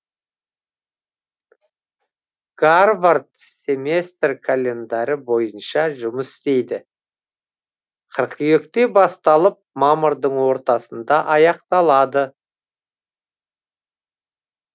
гарвард семестр календарі бойынша жұмыс істейді қыркүйекте басталып мамырдың ортасында аяқталады